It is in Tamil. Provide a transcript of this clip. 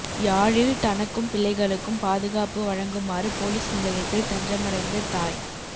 யாழில் தனக்கும் பிள்ளைகளுக்கும் பாதுகாப்பு வழங்குமாறு பொலிஸ் நிலையத்தில் தஞ்சமடைந்த தாய்